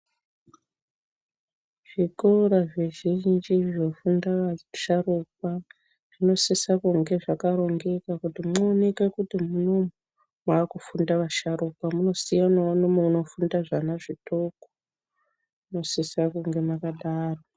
Zvikora zvizhinji zvofunda vasharukwa zvinosisa kunge zvakarongeka kuti muonekwe kuti munomu mwakufunda vasharukwa munosiyanawo nomunofunda zvana zvidoko munosisa kunga mwakadaroko .